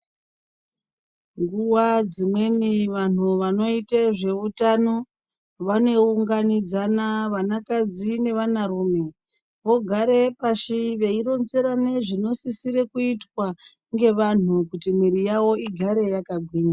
Nguwa dzimweni vantu vanoite zveutano, vanounganidzana, vanakadzi nevanarume vogarepashi veironzerane zvinosisirwe kuitwa ngevantu kuti mwiri yavo igare yakagwinya.